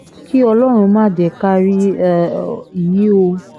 kí ọlọ́run má jẹ́ ká rí um i o